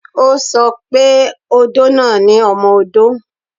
O sọ pé odó náà ni ọmọ-odó